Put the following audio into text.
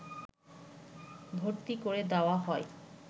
ভর্তি করে দেওয়া হয়